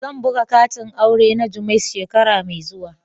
Zan buga katin aure na jummais shekara mai zuwa.